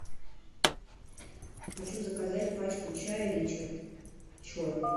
хочу заказать пачку чая ричард черный